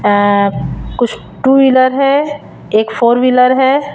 अ कुछ two wheeler है एक फोर व्हीलर है।